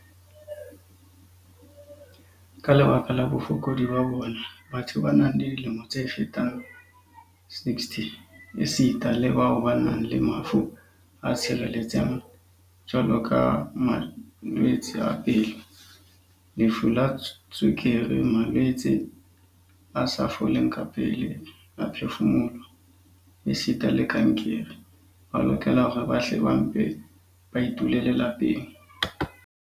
"Ka lebaka la bofokodi ba bona, batho ba nang le dilemo tse fetang 60 esita le bao ba nang le mafu a tshiretseng jwaloka malwetse a pelo, lefu la tswekere, malwetse a sa foleng kapele a phefumoloho esita le kankere, ba lokela hore ba hle ba mpe ba itulele lapeng."